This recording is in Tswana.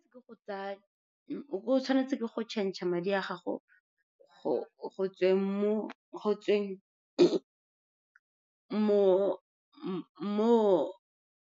O tshwanetse ke go change-a madi a gago go tsweng mo.